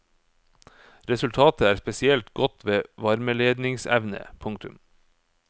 Resultatet er spesielt godt ved varmeledningsevne. punktum